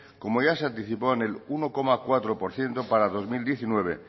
como ya se anticipó en el uno coma cuatro por ciento para el dos mil diecinueve